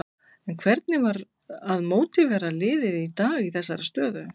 En hvernig var að mótivera liðið í dag í þessari stöðu?